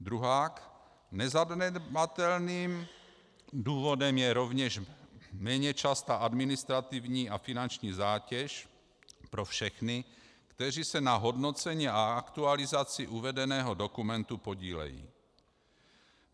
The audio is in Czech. Druhak, nezanedbatelným důvodem je rovněž méně častá administrativní a finanční zátěž pro všechny, kteří se na hodnocení a aktualizaci uvedeného dokumentu podílejí.